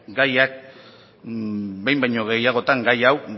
gaiak behin baino gehiagotan gai hau